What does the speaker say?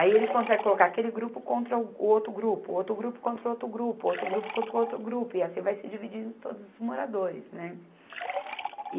Aí eles conseguem colocar aquele grupo contra o outro grupo, outro grupo contra o outro grupo, outro grupo contra o outro grupo, e assim vai se dividindo todos os moradores, né. E